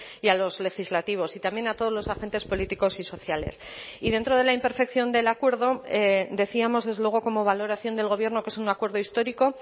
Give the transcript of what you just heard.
y a los legislativos y también a todos los agentes políticos y sociales y dentro de la imperfección del acuerdo decíamos desde luego como valoración del gobierno que es un acuerdo histórico